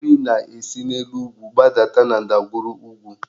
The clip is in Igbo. Mmiri na-esi n'elu ugwu gbadata na ndagwurugwu